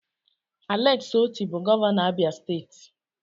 Alex Otti bụ gọvanọ Abia steeti.